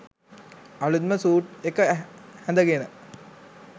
අලූත්ම suit එක හැඳගෙන